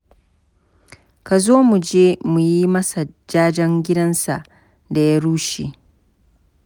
Ka zo mu je mu yi masa jajen gidansa da ya rushe.